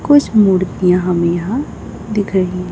कुछ मूर्तियां हमे यहां दिख रही--